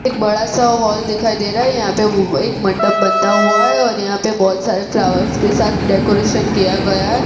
एक बड़ा सा हॉल दिखाई दे रहा है यहां पे वो एक मंडप बनता हुआ है और यहां पे बहोत सारे फ्लावर्स के साथ डेकोरेशन किया गया है।